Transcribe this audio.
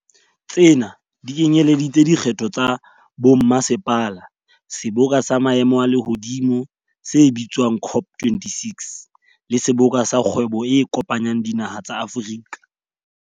Tsena di kenyeletsa dikgetho tsa bommasepala, seboka sa maemo a lehodimo se bitswa ng COP26, le Seboka sa Kgwebo e Kopanyang Dinaha tsa Afrika.